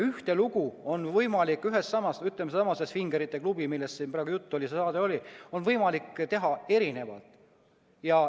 Ühte lugu on võimalik, näiteks sellesama svingerite klubi kohta, millest siin juttu oli, teha erinevalt.